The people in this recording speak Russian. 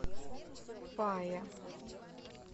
фая